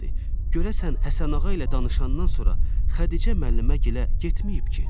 Görəsən Həsənağa ilə danışandan sonra Xədicə müəlliməgilə getməyib ki?